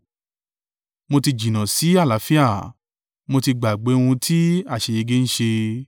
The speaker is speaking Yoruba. Mo ti jìnnà sí àlàáfíà; mo ti gbàgbé ohun tí àṣeyege ń ṣe.